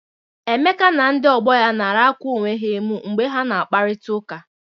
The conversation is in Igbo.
Emeka na ndị ọgbọ ya nara akwa onwe ha emụ mgbe ha na akparịtaụka.